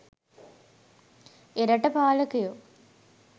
එරට පාලකයෝ